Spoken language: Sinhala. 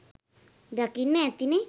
දකින්න ඇතිනේ